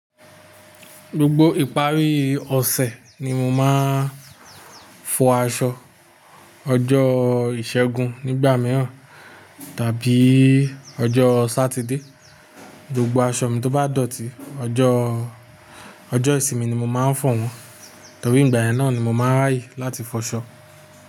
Gbogbo ìparí ọ̀sẹ̀ ni mo máa ń fọ aṣọ. Ọjọ́ ìṣẹ́gun nígbà mìíràn tàbí ọjọ́ Sátidé. Gbogbo aṣọ mi tó bá dọ̀tí, ọjọ́, ọjọ́ ìsinmi ni mo máa ń fọ̀ wọ́n, torí ìgbà náà ni mo máa ń rààyè láti fọṣọ.